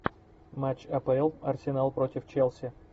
матч апл арсенал против челси